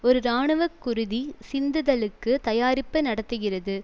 ஒரு இராணுவ குருதி சிந்துதலுக்கு தயாரிப்பு நடத்துகிறது